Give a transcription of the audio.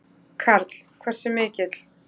Karl: Hversu mikill?